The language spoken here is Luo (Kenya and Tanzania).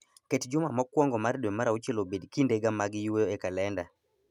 Ket juma mokwongo mar dwe mar auchiel obed kindega mag yweyo e kalenda